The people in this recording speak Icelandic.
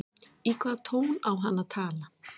Í hvaða tón á hann að tala?